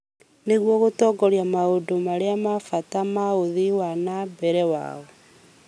nĩguo gũtongoria maũndũ marĩa ma bata ma ũthii wa na mbere wao.